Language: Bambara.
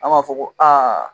An b'a fɔ ko aa.